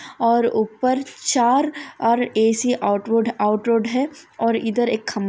और ऊपर चार और ऐ_सी-- औटवुड आउटरोड है और इधर एक खं--